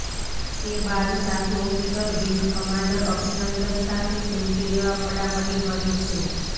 તે બાદ સાથી ઓફિસર વિંગ કમાન્ડર અભિનંદન સાથે સેલ્ફી લેવા પડાપડી કરે છે